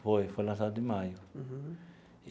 Foi, foi lançado em maio. Uhum.